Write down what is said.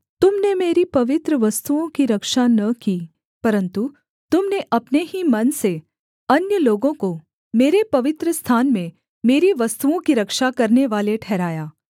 तुम ने मेरी पवित्र वस्तुओं की रक्षा न की परन्तु तुम ने अपने ही मन से अन्य लोगों को मेरे पवित्रस्थान में मेरी वस्तुओं की रक्षा करनेवाले ठहराया